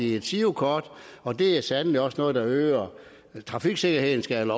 de et girokort og det er sandelig også noget der øger trafiksikkerheden skal